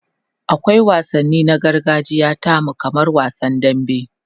akwai wansanni na gargajiya tamu kamar wasan dambe